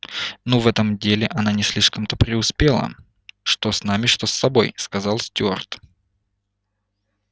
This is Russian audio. ну в этом деле она не слишком-то преуспела что с нами что с тобой сказал стюарт